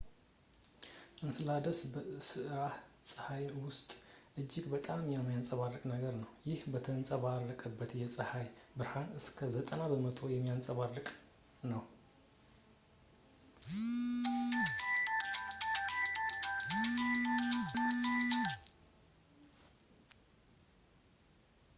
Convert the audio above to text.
እንስላደስ በስራአተ-ፀሐይ ውስጥ እጅግ በጣም የሚያንፀባርቅ ነገር ነው ፣ ይህም የተንጸባረቀበትን የጸሃይ ብርሃን እስከ 90 በመቶ የሚያንፀባርቅ ነው